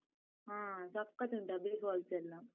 ಹ, ಸಖತ್ ಉಂಟು abbey falls ಎಲ್ಲ.